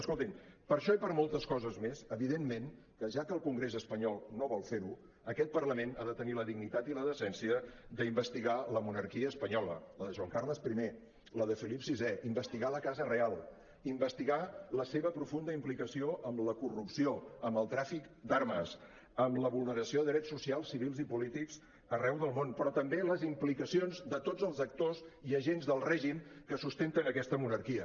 escoltin per això i per moltes coses més evidentment que ja que el congrés espanyol no vol fer ho aquest parlament ha de tenir la dignitat i la decència d’investigar la monarquia espanyola la de joan carles i la de felip vi investigar la casa reial investigar la seva profunda implicació amb la corrupció amb el tràfic d’armes amb la vulneració de drets socials civils i polítics arreu del món però també les implicacions de tots els actors i agents del règim que sustenten aquesta monarquia